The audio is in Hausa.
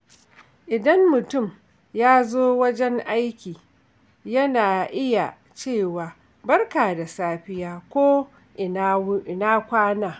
Idan mutum ya zo wajen aiki, yana iya cewa “Barka da safiya” ko “Ina kwana?”